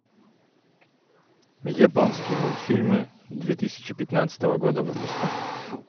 японские мультфильмы две тысячи пятнадцатого года выпуска